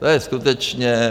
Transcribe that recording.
To je skutečně...